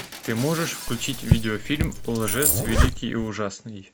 ты можешь включить видеофильм лжец великий и ужасный